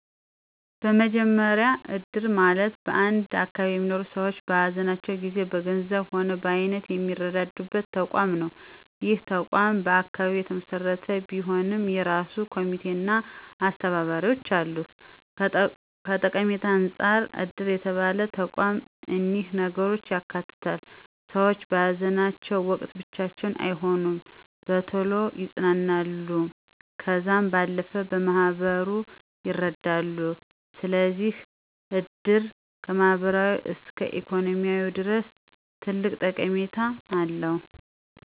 በመጀመሪ እድር ማለት በአንድ አካባቢ የሚኖሩ ሰዎች በሃዘናቸው ጊዜ በገንዘብም ሆነ በአይነት የሚረዳዱበት ተቋም ነው። ይህ ተቋም በአካባቢ የተመሰረተ ቢሆንም የእራሱ ኮሚቴ አና አስተባባሪዎች አሉት። ከጠቀሜታም አንፃር እድር የተባለው ተቋም እኒህን ነገሮች ያካትታል፦ ሰዎች በሃዘናቸው ወቅት ብቻቸውን አይሆኑም፣ በቶሎ ይፅናናሉ ከዛም ባለፈ በማህበሩ ይረዳሉ። ስለዚህ እድር ከማህበራዊ እስከ ኢኮኖሚያዊ ድረስ ትልቅ ጠቀሜታ አለው።